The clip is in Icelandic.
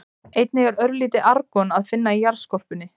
Einnig er örlítið argon að finna í jarðskorpunni.